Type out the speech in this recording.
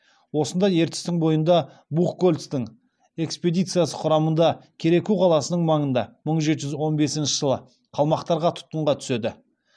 осында ертістің бойында бухгольцтің экспедициясы құрамында кереку қаласының маңында мың жеті жүз он бесінші жылы қалмақтарға тұтқынға түседі